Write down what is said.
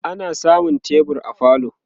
ana samun tebur a falo